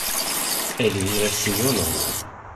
эльвира семеновна